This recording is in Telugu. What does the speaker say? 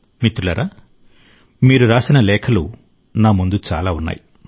మిత్రులారా మీరు రాసిన లేఖలు నా ముందు చాలా ఉన్నాయి